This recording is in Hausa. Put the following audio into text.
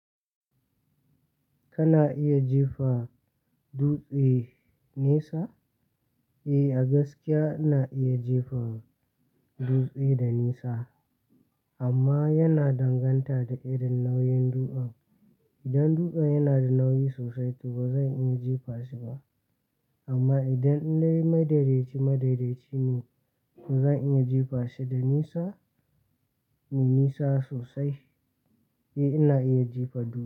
Kana iya jefa dutse nesa? Eh, a gaskiya ina iya jefa dutse da nisa amma yana danganta da irin nauyin dutsen. Idan dutsen yana da nauyi sosai to bazan iya jefa shi ba. Amma idan dai madaidaci madaidaci ne, to zan iya jefa shi da nisa, me nisa sosai. Eh ina iya jefa dutse.